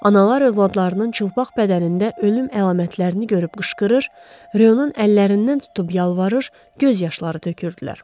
Analar övladlarının çılpaq bədənində ölüm əlamətlərini görüb qışqırır, Ro-nun əllərindən tutub yalvarır, göz yaşları tökürdülər.